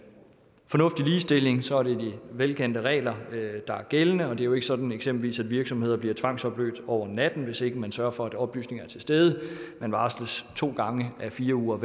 fornuftig ligestilling så er det de velkendte regler der er gældende det er jo ikke sådan at eksempelvis en virksomhed bliver tvangsopløst over natten hvis ikke man sørger for at oplysninger er til stede man varsles to gange med fire ugers